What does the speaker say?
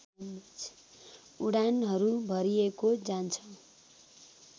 उडानहरू भरिएको जान्छ